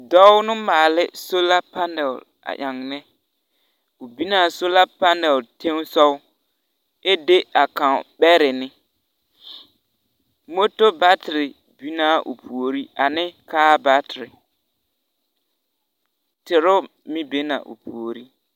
Dͻͻ no maala soola panele a ennԑ. O binaa soola panele teŋԑ sogͻ, ԑ de a kaŋ mare ne. moto baatere binaa o puori ane kaa baatere teero meŋ be na o puori.